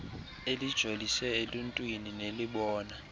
elijolise eluntwini nelibona